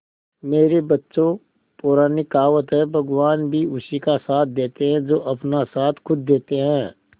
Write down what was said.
मेरे बच्चों पुरानी कहावत है भगवान भी उसी का साथ देते है जो अपना साथ खुद देते है